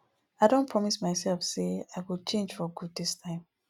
i don promise myself say i go change for good dis time